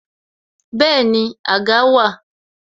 Bẹẹni, àga wà